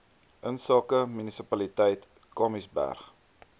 insake munisipaliteit kamiesberg